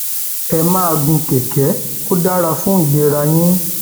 ẹ máa gun kẹkẹ ó dára fún ìlera ara yín